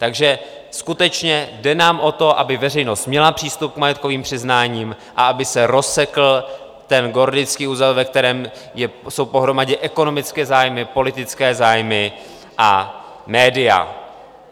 Takže skutečně jde nám o to, aby veřejnost měla přístup k majetkovým přiznáním a aby se rozsekl ten gordický uzel, ve kterém jsou pohromadě ekonomické zájmy, politické zájmy a média.